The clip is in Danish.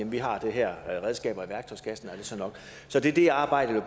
vi har de her redskaber i værktøjskassen er det så nok så det er det arbejdet